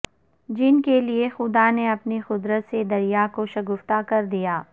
جن کے لئے خدا نے اپنی قدرت سے دریا کو شگافتہ کردیا